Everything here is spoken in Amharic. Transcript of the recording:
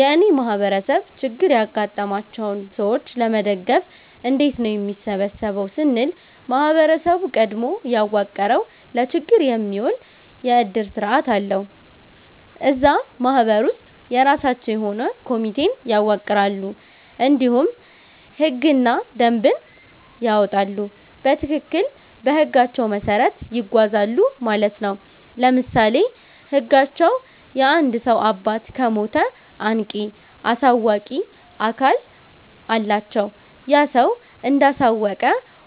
የእኔ ማህበረሰብ ችግር ያጋጠማቸውን ሰዎች ለመደገፍ እንዴት ነው የሚሰበሰበው ስንል ማህበረሰቡ ቀድሞ ያዋቀረዉ ለችግር የሚዉል የዕድር ስርዓት አለዉ። እዛ ማህበር ውስጥ የራሳቸዉ የሆነ ኮሚቴን ያዋቅራሉ እንዲሁም ህግና ደንብን ያወጣሉ በትክክል በህጋቸዉ መሰረት ይጓዛሉ ማለት ነዉ። ለምሳሌ ህጋቸዉ የአንድ ሰዉ አባት ከሞተ አንቂ(አሳዋቂ)አካል አላቸዉ ያ ሰዉ እንዳሳወቀ